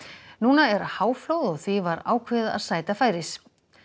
nú er háflóð og því var ákveðið að sæta færis